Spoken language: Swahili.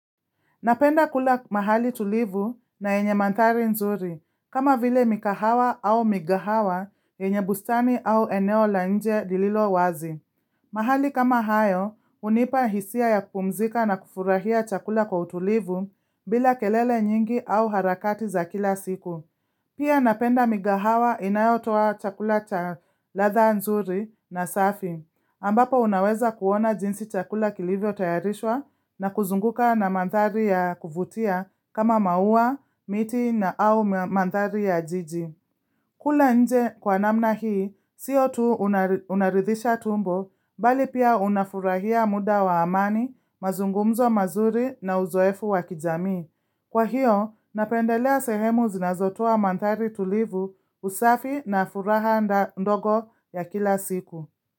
Napenda kula mahali tulivu na yenye mandhari nzuri kama vile mikahawa au migahawa yenye bustani au eneo la nje lililo wazi. Mahali kama hayo hunipa hisia ya kupumzika na kufurahia chakula kwa utulivu bila kelele nyingi au harakati za kila siku. Pia napenda migahawa inayotoa chakula cha ladha nzuri na safi, ambapo unaweza kuona jinsi chakula kilivyotayarishwa na kuzunguka na mandhari ya kuvutia kama maua, miti na au mandhari ya jiji. Kula nje kwa namna hii, siyo tu unaridhisha tumbo, bali pia unafurahia muda wa amani, mazungumzo mazuri na uzoefu wa kijamii. Kwa hiyo, napendelea sehemu zinazotoa mandhari tulivu usafi na furaha ndogo ya kila siku.